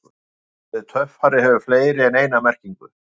Orðið töffari hefur fleiri en eina merkingu.